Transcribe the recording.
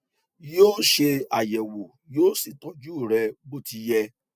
yoo ṣe ayẹwo yó sì tọju rẹ bó ti yẹ